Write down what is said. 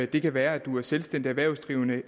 det kan være at man er selvstændig erhvervsdrivende